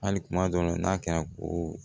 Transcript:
Hali kuma dɔw la n'a kɛra ko